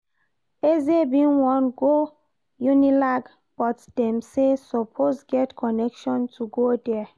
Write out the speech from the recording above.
Eze bin wan go Unilag but dem say you suppose get connection to go there